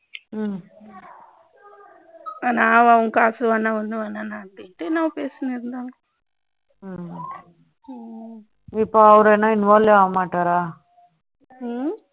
உங்க காசு வேண்டாம் ஒன்னும் வேண்டாம் என்னமோ பேசிகிட்டு இருந்தாங்க இப்போ அவர் என்ன involve ஆக மாட்டாரா